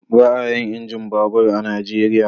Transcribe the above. Ba a yin injin babur a Najeriya.